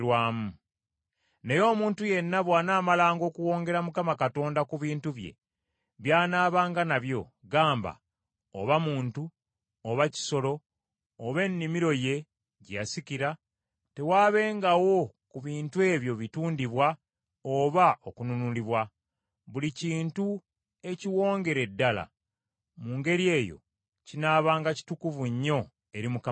“Naye omuntu yenna bw’anaamalanga okuwongera Mukama Katonda ku bintu bye by’anaabanga nabyo, gamba oba muntu oba kisolo oba ennimiro ye gye yasikira, tewaabengawo ku bintu ebyo bitundibwa oba okununulibwa; buli kintu ekiwongere ddala mu ngeri eyo kinaabanga kitukuvu nnyo eri Mukama Katonda.